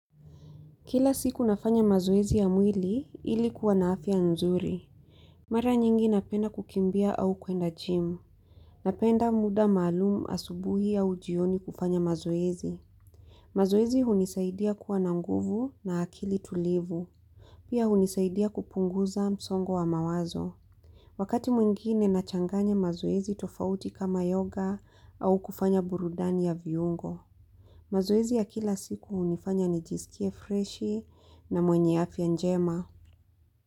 Kila siku nafanya mazoezi ya mwili ilikuwa na afya nzuri. Mara nyingi napenda kukimbia au kuenda jimu. Napenda muda maalumu asubuhi au jioni kufanya mazoezi. Mazoezi hunisaidia kuwa na nguvu na akili tulivu. Pia hunisaidia kupunguza msongo wa mawazo. Wakati mwingine nachanganya mazoezi tofauti kama yoga au kufanya burudani ya viungo. Mazoezi ya kila siku hunifanya nijisikie freshi na mwenye afya njema.